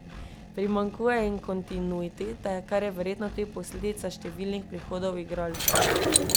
Primanjkuje jim kontinuitete, kar je verjetno tudi posledica številnih prihodov igralcev.